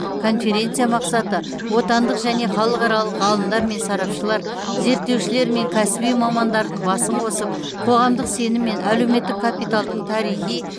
конференция мақсаты отандық және халықаралық ғалымдар мен сарапшылар зерттеушілер мен кәсіби мамандардың басын қосып қоғамдық сенім мен әлеуметтік капиталдың тарихи